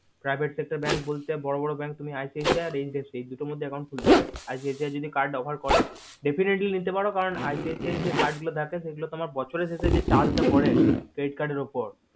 private sector bank বলতে বড় বড় bank icic আর hdfc এই দুটোর মধ্যে তুমি খুলতে পারো ICICI যদি card offer করে definitely নিতে পারে কারণ ICICI যে card গুলো থাকে সেই গুলো তোমার বছরের শেষে যে charge ডা পারে credit card এর উপর